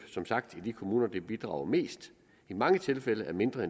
som sagt i de kommuner der bidrager mest i mange tilfælde er mindre